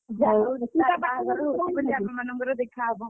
ତୁ ତା ବାହାଘରକୁ ସାଥି ମାନଙ୍କର ଦେଖା ହେବା।